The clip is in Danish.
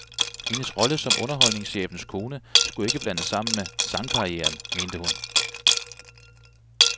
Hendes rolle som underholdningschefens kone skulle ikke blandes sammen med sangkarrieren, mente hun.